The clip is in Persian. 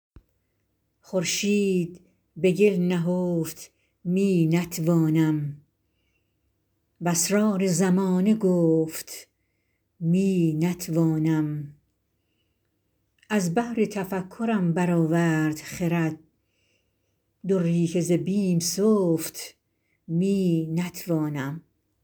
خورشید به گل نهفت می نتوانم و اسرار زمانه گفت می نتوانم از بحر تفکرم برآورد خرد دری که ز بیم سفت می نتوانم